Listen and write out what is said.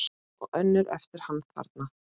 Og önnur eftir hann þarna